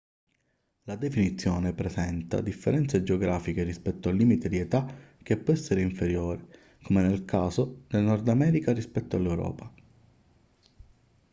la definizione presenta differenze geografiche rispetto al limite di età che può essere inferiore come nel caso del nord america rispetto all'europa